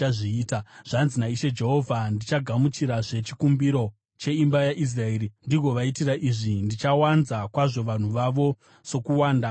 “Zvanzi naIshe Jehovha: Ndichagamuchirazve chikumbiro cheimba yaIsraeri ndigovaitira izvi: Ndichawanza kwazvo vanhu vavo sokuwanda kwamakwai,